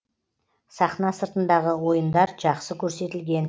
сахна сыртындағы ойындар жақсы көрсетілген